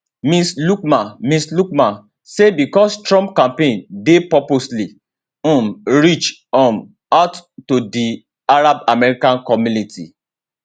ms luqman ms luqman say becos trump campaign dey purposely um reach um out to di arab american community